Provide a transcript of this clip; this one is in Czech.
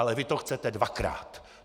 Ale vy to chcete dvakrát!